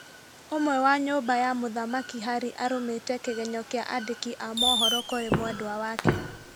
Ũmwe wa nyũmba ya mũthamaki Harry arumĩte kĩgenyo kĩa andĩki a mohoro kũrĩ mwendwa wake